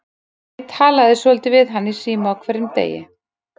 Ef ég talaði svolítið við hann í síma á hverjum degi.